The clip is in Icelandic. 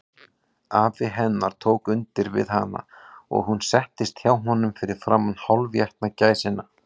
Afi hennar tók undir við hana, og hún settist hjá honum fyrir framan hálfétna gæsina.